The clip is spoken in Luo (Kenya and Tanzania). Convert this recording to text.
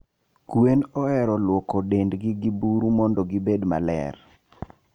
Gweno ohero lwoko dend gi burumondo gibed maler.